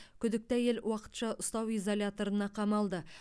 күдікті әйел уақытша ұстау изоляторына қамалды